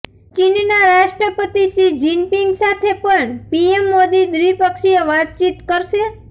ચીનના રાષ્ટ્રપતિ Xi Jinping સાથે પણ પીએમ મોદી દ્વિપક્ષીય વાતચીત કરશે